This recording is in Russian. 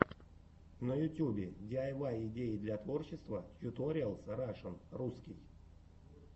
на ютубе диайвай идеи для творчества тьюториалс рашн русский